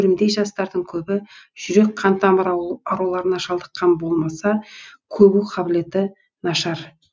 өрімдей жастардың көбі жүрек қантамыр ауруларына шалдыққан болмаса көру қабілеті нашар